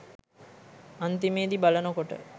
අන්තිමෙදි බලනකොට